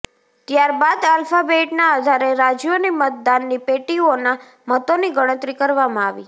ત્યારબાદ આલ્ફાબેટના આધારે રાજ્યોની મતદાનની પેટીઓના મતોની ગણતરી કરવામાં આવી